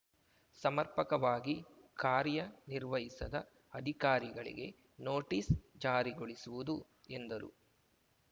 ಸಮರ್ಪಕವಾಗಿ ಕಾರ್ಯ ನಿರ್ವಹಿಸದ ಅಧಿಕಾರಿಗಳಿಗೆ ನೋಟಿಸ್‌ ಜಾರಿಗೊಳಿಸುವುದು ಎಂದರು